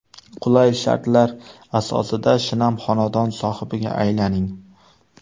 Qulay shartlar asosida shinam xonadon sohibiga aylaning!